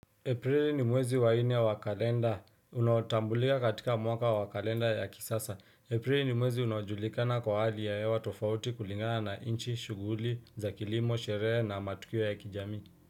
Aprili ni mwezi wa nne wa kalenda. Unaotambulika katika mwaka wa kalenda ya kisasa. Aprili ni mwezi unaojulikana kwa hali ya hewa tofauti kulingana na inchi, shughuli za kilimo, sherehe na matukio ya kijamii.